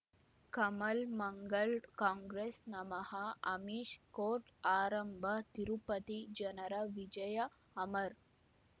ಕಮಲ್ ಮಂಗಳ್ ಕಾಂಗ್ರೆಸ್ ನಮಃ ಅಮಿಷ್ ಕೋರ್ಟ್ ಆರಂಭ ತಿರುಪತಿ ಜನರ ವಿಜಯ ಅಮರ್